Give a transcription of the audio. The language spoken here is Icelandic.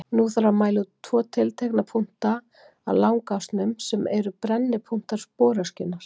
Nú þarf að mæla út tvo tiltekna punkta á langásnum, sem eru brennipunktar sporöskjunnar.